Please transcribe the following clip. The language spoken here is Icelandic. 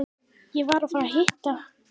Ég var að fara að hitta